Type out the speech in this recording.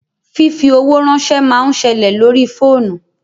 Fífi owó ránsẹ́ máa ń ṣẹlẹ̀ lórí fóònù